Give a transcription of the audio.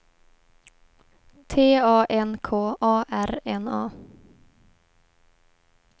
T A N K A R N A